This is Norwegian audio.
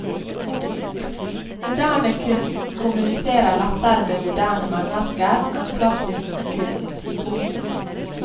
Moderne kunst kommuniserer lettere med moderne mennesker enn klassisk kunst. punktum